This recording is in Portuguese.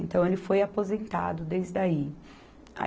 Então ele foi aposentado desde aí.